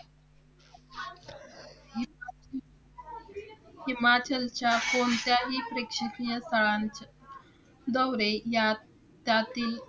हिमाचलच्या कोणत्याही प्रेक्षणीय स्थळांचे दौरे यात जातील.